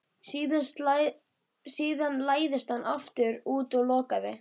Síðan læddist hann aftur út og lokaði.